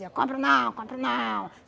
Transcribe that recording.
compro não, compro não.